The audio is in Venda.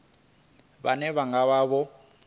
vhane vha nga vha vho